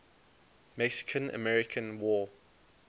mexican american war